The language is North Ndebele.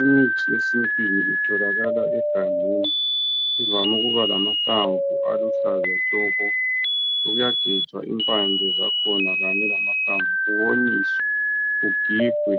imithi yesintwini itholakala egangeni ivame ukumangamahlamvu aluhlaza tshoko kuyagejwa impande zakhona kanye lamahlamvu konyiswe kugigwe